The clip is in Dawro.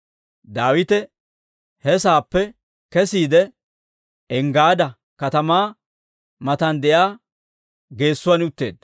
Daawite he saappe kesiide, Enggaada katamaa matan de'iyaa geesotuwaan utteedda.